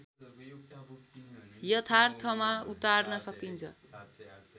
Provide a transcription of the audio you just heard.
यथार्थमा उतार्न सकिन्छ